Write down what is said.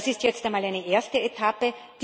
Das ist jetzt einmal eine erste Etappe.